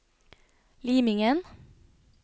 Limingen